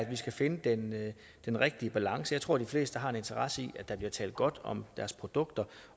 vi skal finde den den rigtige balance jeg tror de fleste har en interesse i at der bliver talt godt om deres produkter